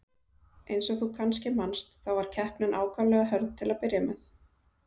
Eins og þú kannski manst, þá var keppnin ákaflega hörð til að byrja með.